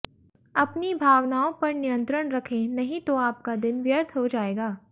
अपनी भावनाओं पर नियंत्रण रखें नहीं तो आपका दिन व्यर्थ हो जाएगा